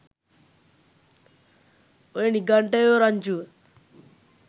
ඔය නිඝන්ටයෝ රංචුව